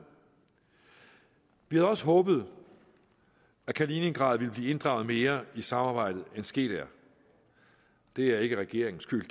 vi havde også håbet at kaliningrad ville blive inddraget mere i samarbejdet end sket er det er ikke regeringens skyld